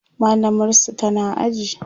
mallamar su tana aji